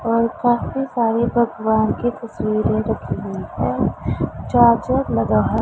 और काफी सारे भगवान की तस्वीरे रखी हुई है चार्जर लगा --